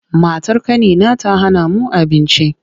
Matar ƙanina ta hana mu abinci.